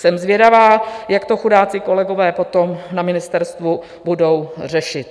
Jsem zvědavá, jak to chudáci kolegové potom na ministerstvu budou řešit.